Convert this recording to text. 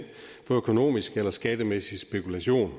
for økonomisk eller skattemæssig spekulation